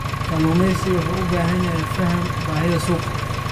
Kalluumeysigu wuxuu u baahan yahay fahamka baahida suuqa.